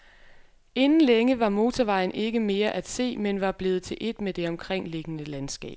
Inden længe var motorvejen ikke mere at se, men var blevet til et med det omkringliggende landskab.